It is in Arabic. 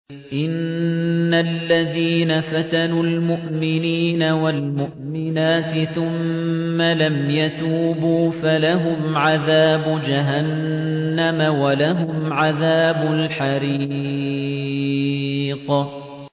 إِنَّ الَّذِينَ فَتَنُوا الْمُؤْمِنِينَ وَالْمُؤْمِنَاتِ ثُمَّ لَمْ يَتُوبُوا فَلَهُمْ عَذَابُ جَهَنَّمَ وَلَهُمْ عَذَابُ الْحَرِيقِ